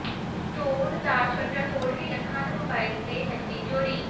store ਦਾ shutter ਤੋੜ ਕੇ ਲੱਖਾਂ ਦੇ ਮੋਬਾਈਲ ਤੇ ਨਕਦੀ ਚੋਰੀ